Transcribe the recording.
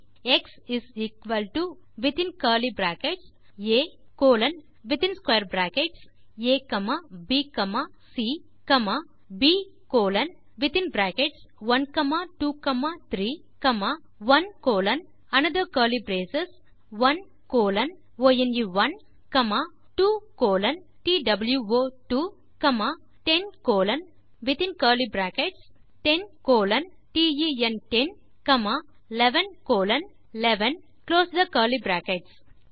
X is equal to within curly brackets ah colon abc b colon 1 2 3 1 colon then another curly brace 1 colon one comma 2 colon two comma 10 colon within curly brackets 10 colon ten 11 colon eleven and close the curly brackets